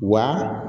Wa